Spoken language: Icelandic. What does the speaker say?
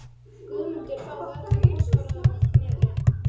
Guðmundur þá við öllum búsforráðum að Knerri.